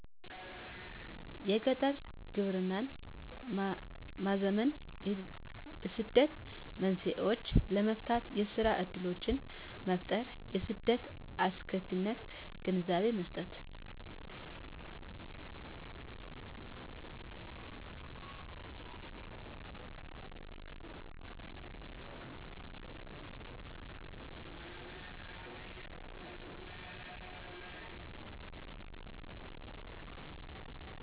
የገጠር ግብርናን ማዘመን የስደት መንስኤዎችን ለመፍታት የስራ እድሎችን መፍጠር የስደት አስከፊነት ግንዛቤ መስጠት